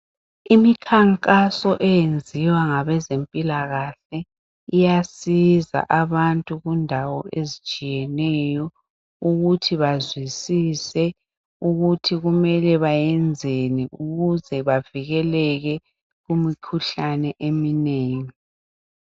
Imikhankaso eyenziwa ngabezempilakahle iyasiza abantu kundawo ezitshiyeneyo ukuthi bazwisise ukuthi kumele benzeni ukuze bavikelele kumkhuhlane eminengi.